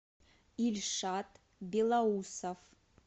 ильшат белоусов